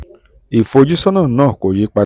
ìfojúsọ́nà náà kò yí padà.